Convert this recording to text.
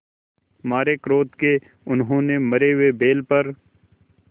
मारे क्रोध के उन्होंने मरे हुए बैल पर